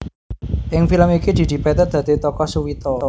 Ing film iki Didi Petet dadi tokoh Suwito